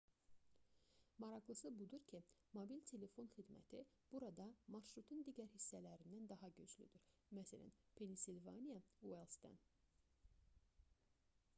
maraqlısı budur ki mobil telefon xidməti burada marşrutun digər hissələrindən daha güclüdür məs pensilvaniya uayldsdan